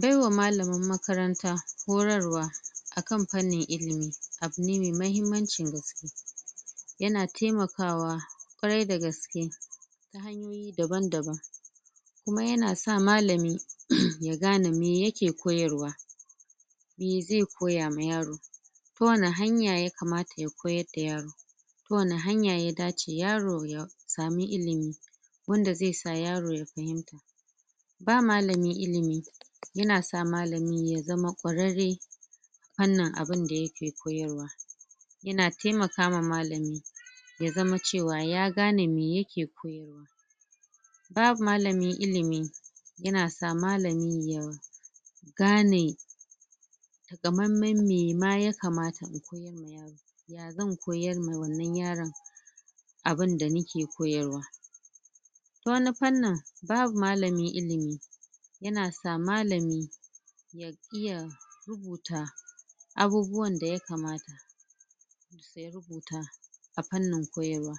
Baiwa malamin makaranta horarwa akan fannin ilimi, abu ne mai mahimmancin gaske yana taimakawa ƙwarai da gaske daban-daban kuma yana sa malami ya gane me yake koyarwa me zai koya ma yaro ko wane hanya yakamata ya koyar da yaro kuma wani hanya ya dace yaro ya samu ilimi wanda zai sa yaro ya fahimta ba malami ilimi yana sa malamin ya zama ƙwararre fannin abinda yake koyarwa yana taimaka ma malami ya zama cewa ya gane me yake koyarwa ba malami ilimi yana sa malami ya gane gamenmen me ma yakamata zan koyar ma wannan yaron abinda yake koyarwa ta wani fannin babu malamin ilimi yana sa malami ya iya rubuta abubuwan da yakamata a fannin koyarwa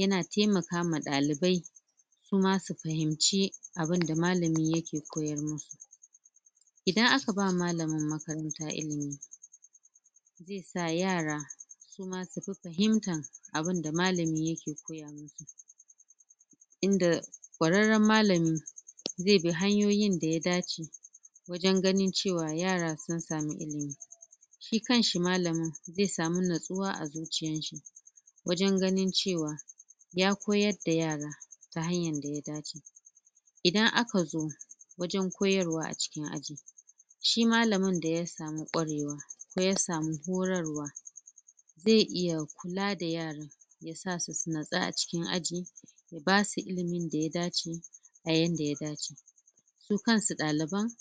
yana taimaka ma ɗalibai su ma su fahimci abinda malami yake koyar min idan aka ba malamin makaranta ilimi ga yara su ma su fi fahimtan abinda malami yake koya musu inda ƙwararren malami zai bi hanyoyin da ya dace wajen ganin cewa yara sun samu ilimi shi kan shi malamin zai samu natsuwa a zuciyan shi wajen ganin cewa ya koyar da yara ta hanyan da ya dace idan aka zo wajen koyarwa a cikin aji shi malamin da ya samu ƙwarewa ko ya samu horarwa zai iya kula da yara sasu su natsu a cikin aji basu ilimin da ya dace, a yanda ya dace su kan su ɗaliban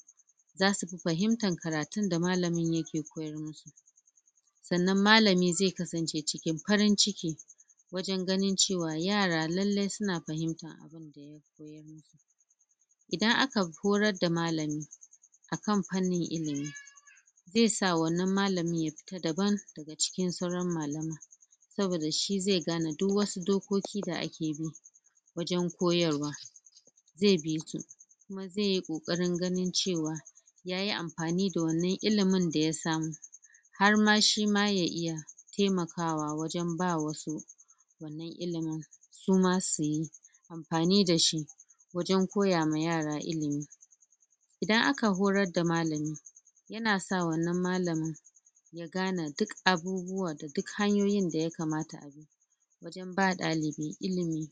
zasu fi fahimtar karatun da malamin yake koyar musu sannan malami zai kasance cikin farin ciki wajen ganin cewa yara lallai suna fahimta idan aka horar da malami akan fannin ilimi zai sa wannan malamin ya fita daban a cikin sauran malamai saboda shi zai gane duk wasu dokoki da ake bi wajen koyarwa zai bi su zai yi ƙoƙarin ganin cewa yayi amfani da wannan ilimin da ya samu har ma shi ma ya iya taimakawa wajen ba wasu ilimin suma su yi amfani da shi wajen koya ma yara ilimi idan aka horar da malami yana sa wannan malamin su gane duk abubuwa da duk hanyoyin da yakamata ba ɗalibi ilimi.